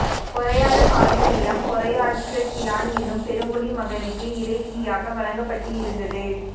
பொறையாறு பாயும் நிலம் பொறையாற்று கிழான் என்னும் பெருங்குடி மகனுக்கு இறையிலியாக வழங்கப்பட்டிருந்தது